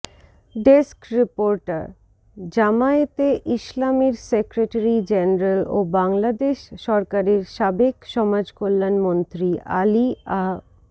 desk report জামায়াতে ইসলামীর secretary general ও বাংলাদেশ সরকারের সাবেক সমাজকল্যাণ মন্ত্রী আলী আহ